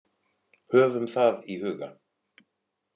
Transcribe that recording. Höfum það í huga.